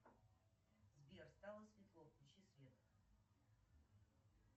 сбер стало светло включи свет